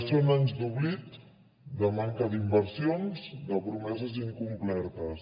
són anys d’oblit de manca d’inversions de promeses incomplertes